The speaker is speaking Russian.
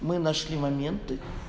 мы нашли моменты